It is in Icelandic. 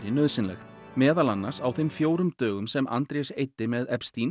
nauðsynleg meðal annars á þeim fjórum dögum sem Andrés eyddi með